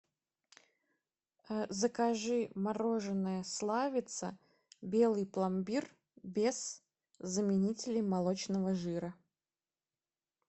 закажи мороженое славица белый пломбир без заменителей молочного жира